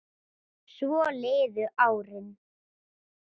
Svo liðu árin.